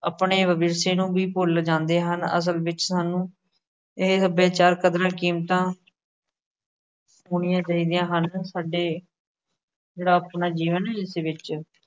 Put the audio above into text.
ਆਪਣੇ ਵਵਿਰਸੇ ਨੂੰ ਵੀ ਭੁੱਲ ਜਾਦੇਂ ਹਨ। ਅਸਲ ਵਿੱਚ ਸਾਨੂੰ ਇਹੇ ਸੱਭਿਆਚਾਰ ਕਦਰਾਂ-ਕੀਮਤਾ ਹੋਣੀਆਂ ਚਾਹੀਦੀਆ ਹਨ। ਸਾਡੇ, ਜਿਹੜਾ ਆਪਣਾ ਜੀਵਨ ਇਸ ਵਿੱਚ